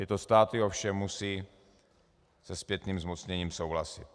Tyto státy ovšem musí se zpětným zmocněním souhlasit.